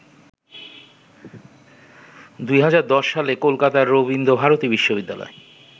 ২০১০সালে কলকাতার রবীন্দ্র ভারতী বিশ্ববিদ্যালয়